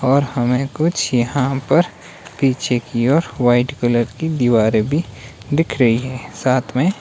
और हमें कुछ यहां पर पीछे की ओर व्हाइट कलर की दीवारें भी दिख रही हैं साथ में--